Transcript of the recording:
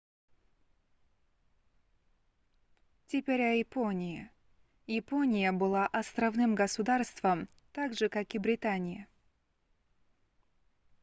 теперь о японии япония была островным государством так же как и британия